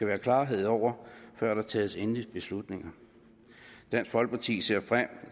være klarhed over før der tages endelige beslutninger dansk folkeparti ser frem